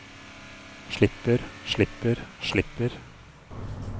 slipper slipper slipper